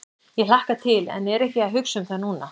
Ég hlakka til en er ekki að hugsa um það núna.